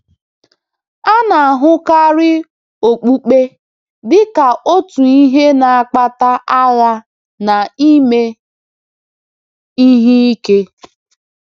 A na-ahụkarị okpukpe dị ka otu ihe na-akpata agha na ime ihe ike.